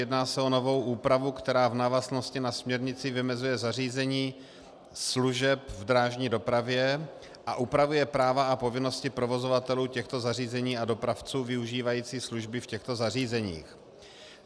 Jedná se o novou úpravu, která v návaznosti na směrnici vymezuje zařízení služeb v drážní dopravě a upravuje práva a povinnosti provozovatelů těchto zařízení a dopravců využívajících služby v těchto zařízeních.